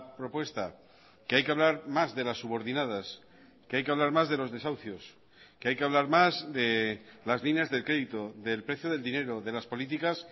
propuesta que hay que hablar más de las subordinadas que hay que hablar más de los desahucios que hay que hablar más de las líneas de crédito del precio del dinero de las políticas